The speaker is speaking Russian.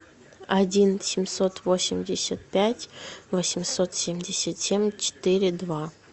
один семьсот восемьдесят пять восемьсот семьдесят семь четыре два